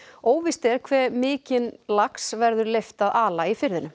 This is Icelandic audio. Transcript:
óvíst er hve mikinn lax verður leyft að ala í firðinum